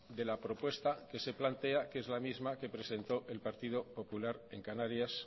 de la propuesta que se plantea que es la misma que presentó el partido popular en canarias